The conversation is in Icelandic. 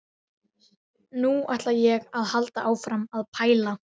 Nú ætla ég að halda áfram að pæla.